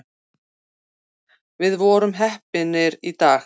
Við vorum heppnir í dag